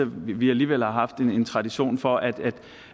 vi alligevel har haft en tradition for at